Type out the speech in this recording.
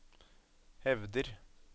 hevder